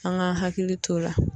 An ka hakili to o la.